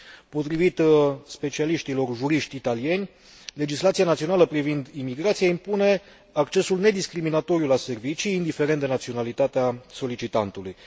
Potrivit specialiștilor juriști italieni, legislația națională privind imigrația impune accesul nediscriminatoriu la servicii, indiferent de naționalitatea solicitantului.